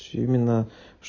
семена